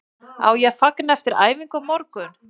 Á ég að fagna eftir æfingu á morgun?